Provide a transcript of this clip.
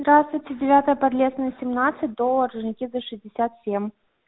здравствуйте девятая подлесная семнадцать до орджоникидзе шестьдесят семь